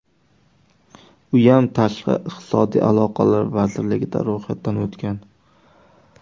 Uyam tashqi iqtisodiy aloqalar vazirligida ro‘yxatdan o‘tgan.